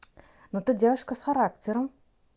ну ты девушка с характером